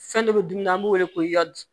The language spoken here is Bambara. Fɛn dɔ bɛ dumuni an b'o wele ko i ya di